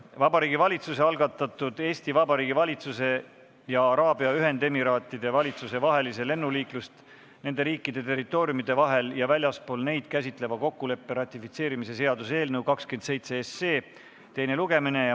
Vabariigi Valitsuse algatatud Eesti Vabariigi valitsuse ja Araabia Ühendemiraatide valitsuse vahelise lennuliiklust nende riikide territooriumide vahel ja väljaspool neid käsitleva kokkuleppe ratifitseerimise seaduse eelnõu 27 teine lugemine.